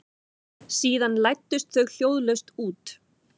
Síðan læddust þau hljóðlaust út.